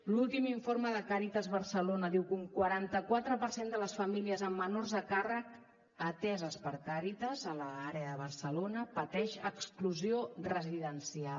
l’últim informe de càritas barcelona diu que un quaranta quatre per cent de les famílies amb menors a càrrec ateses per càritas en l’àrea de barcelona pateix exclusió residencial